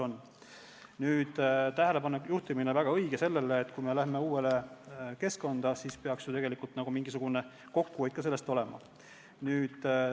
On väga õige juhtida tähelepanu sellele, et kui me läheme uude keskkonda, siis peaks ju tegelikult ka mingisugune kokkuhoid sellest tulema.